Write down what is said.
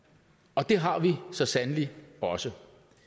og det har vi så sandelig også